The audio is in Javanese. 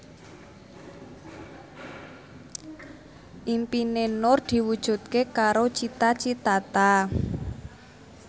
impine Nur diwujudke karo Cita Citata